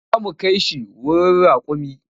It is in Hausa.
Za mu kai shi wurin raƙumin.